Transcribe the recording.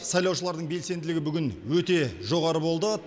сайлаушылардың белсенділігі бүгін өте жоғары болды